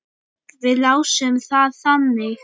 Við lásum það þannig.